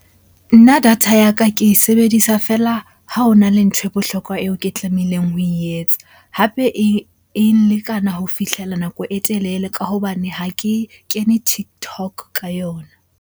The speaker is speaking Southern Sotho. Nna data ya ka ke e sebedisa feela ha ho na le ntho e bohlokwa eo ke tlamehileng ho e etsa. Hape e nlekana ho fihlela nako e telele ka hobane ha ke kene TikTok ka yona.